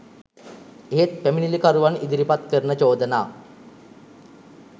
එහෙත් පැමිණිලිකරුවන් ඉදිරිපත් කරන චෝදනා